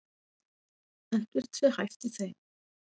Ekkert sé hæft í þeim